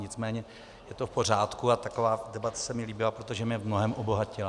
Nicméně je to v pořádku a taková debata se mi líbila, protože mě v mnohém obohatila.